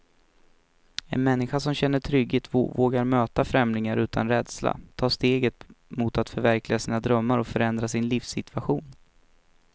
En människa som känner trygghet vågar möta förändringar utan rädsla, ta stegen mot att förverkliga sina drömmar och förändra sin livssituation.